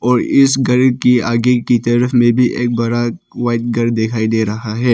और इस घर की आगे की तरफ में भी एक बड़ा व्हाइट घर दिखाई दे रहा है।